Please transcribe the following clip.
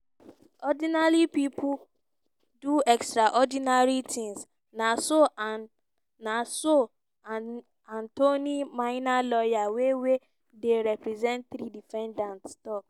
"ordinary pipo do extraordinary tins" na so antoine minier lawyer wey wey dey represent three defendants tok.